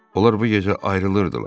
Onlar bu gecə ayrılırdılar.